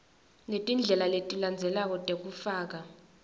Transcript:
letindlela letilandzelako tekufaka